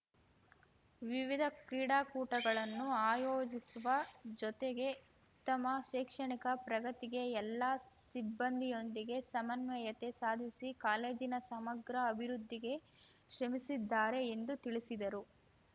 ವಿವಿಧ ಕ್ರೀಡಾಕೂಟಗಳನ್ನು ಆಯೋಜಿಸುವ ಜೊತೆಗೆ ಉತ್ತಮ ಶೈಕ್ಷಣಿಕ ಪ್ರಗತಿಗೆ ಎಲ್ಲ ಸಿಬ್ಬಂದಿಯೊಂದಿಗೆ ಸಮನ್ವಯತೆ ಸಾಧಿಸಿ ಕಾಲೇಜಿನ ಸಮಗ್ರ ಅಭಿವೃದ್ಧಿಗೆ ಶ್ರಮಿಸಿದ್ದಾರೆ ಎಂದು ತಿಳಿಸಿದರು